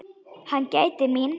Hann gætir mín.